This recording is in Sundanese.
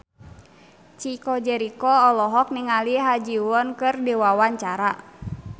Chico Jericho olohok ningali Ha Ji Won keur diwawancara